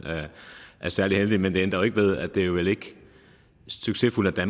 er særlig heldigt men det ændrer jo ikke ved at det vel ikke er succesfuldt at